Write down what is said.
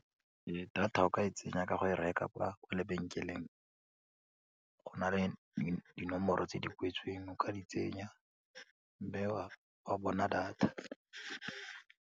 Data o ka e tsenya ka go e reka kwa lebenkeleng go na le dinomoro tse di kwetsweng o ka di tsenya wa bona data.